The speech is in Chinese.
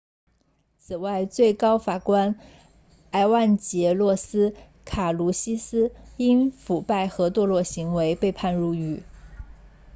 此外最高法官埃万杰洛斯卡卢西斯因腐败和堕落行为被判入狱